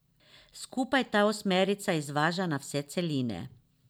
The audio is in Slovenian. Skupaj ta osmerica izvaža na vse celine.